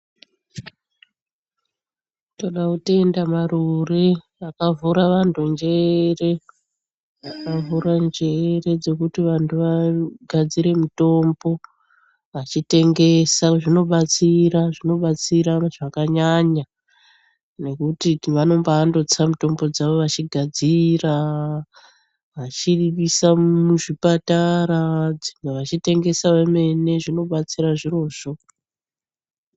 Todakutenda marure akavhura vantu njere, akavhura njere dzekuti vantu vagadzire mitombo vachitengesa . Zvinobatsira-zvinobatsira zvakanyanya nekuti vanombandotsa mitombo dzavo vachigadziraa, vachiriisa muzvipataraa, vachitengesa vamene zvinobatsira zvirozvo.